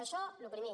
això el primer